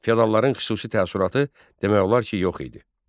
Feodalların xüsusi təsərrüatı demək olar ki, yox idi.